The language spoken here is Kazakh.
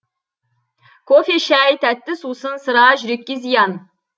кофе шай тәтті сусын сыра жүрекке зиян